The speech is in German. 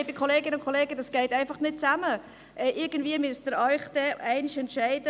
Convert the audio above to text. Ja, liebe Kolleginnen und Kollegen, das geht einfach nicht gleichzeitig.